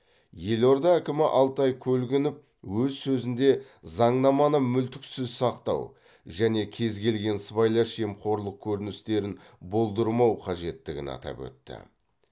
елорда әкімі алтай көлгінов өз сөзінде заңнаманы мүлтіксіз сақтау және кез келген сыбайлас жемқорлық көріністерін болдырмау қажеттігін атап өтті